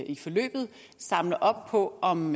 i forløbet samler op på om